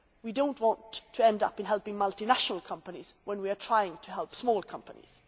We do not want to end up helping multinational companies when we are trying to help small companies.